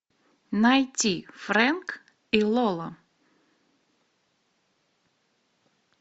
найти фрэнк и лола